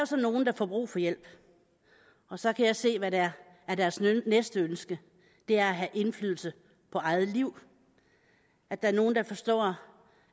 så nogle der får brug for hjælp og så kan jeg se hvad der er deres næste ønske det er at have indflydelse på eget liv at der er nogle der forstår